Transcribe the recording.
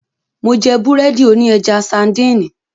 Mó jẹ́ búrẹ́dì òní ẹja sańdìnì.